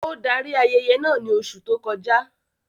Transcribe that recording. Ó darí ayẹyẹ naa ní oṣù tó kọ já